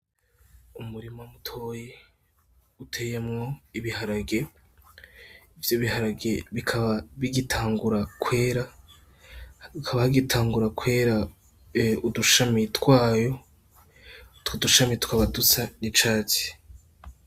Umurima mutoyi uteyemwo ibiharage, ivyo b'iharage bikaba bigitangura kwera hakaba hagitangura kwera udushami twayo, Utwo dushami tukaba dusa n'icatsi.